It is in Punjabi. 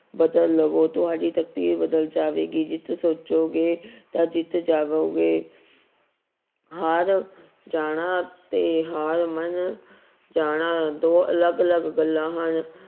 ਬਦਲ ਲਵੋ ਤੁਹਾਡੀ ਤਕਦੀਰ ਬਦਲ ਜਾਵੇਗੀ ਜਿੱਤ ਸੋਚੋਗੇ ਤਾਂ ਜਿੱਤ ਜਾਵੋਗੇ ਹਾਰ ਜਾਣਾ ਤੇ ਹਾਰ ਮਨ ਜਾਣਾ ਦੋ ਅਲੱਗ ਅਲੱਗ ਗੱਲਾਂ ਹਨ